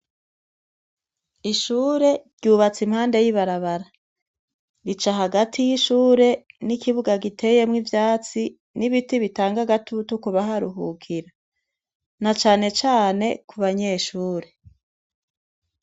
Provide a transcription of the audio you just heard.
Ishure ryubatse impande y'ibarabara. Rica hagati yishure ni kibuga giteyemwo ivyatsi n'ibiti bitanga agatutu kubaharuhukira, na canecane kubanyeshure.